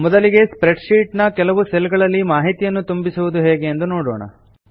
ಈಗ spreadsheet ನ ಕೆಲವು ಸೆಲ್ ಗಳಲ್ಲಿ ಮಾಹಿತಿಯನ್ನು ಹೇಗೆ ತುಂಬಿಸುವುದು ಎಂದು ನೋಡೋಣ